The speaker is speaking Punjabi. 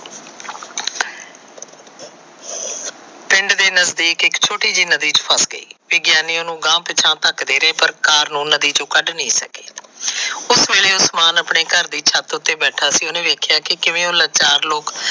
ਪਿੰਡ ਦੇ ਨਜ਼ਦੀਕ ਇਕ ਛੋਟੀ ਜਿਹੀ ਨਦੀ ਚ ਫਸ ਗਈ। ਵਿਗਿਆਨੀਆਂ ਨੂੰ ਅਗਾਹ ਪਿਛਾਹ ਢਕਦੇ ਰਹੀ ਪਰ ਕਾਲ ਨੂੰ ਨਦੀ ਤੋ ਕੱਡ ਨਹੀ ਸਗੀ। ੳਸ ਲੇਲੇ ਉਸਮਾਨ ਆਪਣੀ ਛੱਤ ਉਤੇ ਬੈਠਾ ਸੀ। ਉਹਨੇ ਵੇਖਿਆਂ ਕਿਵੇ ਉਹ ਲਚਾਰ ਲੋਕ।